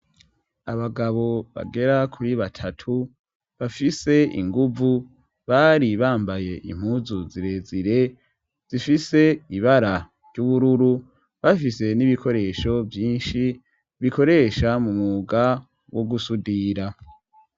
Abagabo bagera kuri batatu bafise inguvu bari bambaye impuzu zirezire zifise ibara ry'ubururu bafise n'ibikoresho vyinshi bikoresha mu muga wo gusudira.